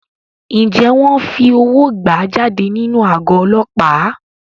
Ǹjẹ́ wọn fi owó gbà á jáde nínú àgọ́ Ọlọ́pàá?